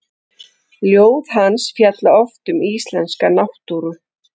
Ljóð hans fjalla oft um íslenska náttúru.